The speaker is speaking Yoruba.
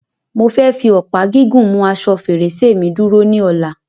Mo fẹ́ fi ọ̀pá gígùn mu asọ fèrèsé mi dúró ní Ọ̀la